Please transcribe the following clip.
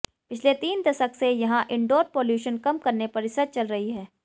पिछले तीन दशक से यहां इंडोर पॉल्यूशन कम करने पर रिसर्च चल रही है